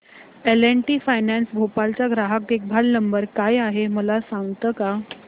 L and T finance Bhopal चा ग्राहक देखभाल नंबर काय आहे मला सांगता का